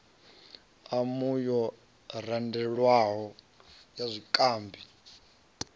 umu yo randelwaho ya zwikambi